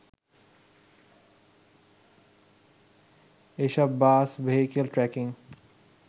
এসব bus vehicle tracking